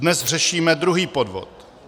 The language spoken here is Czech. Dnes řešíme druhý podvod.